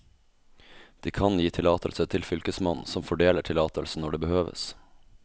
De kan gi tillatelse til fylkesmannen, som fordeler tillatelsen når det behøves.